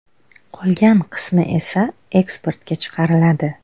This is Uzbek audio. Qolgan qismi esa eksportga chiqariladi.